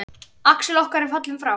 Axel okkar er fallinn frá.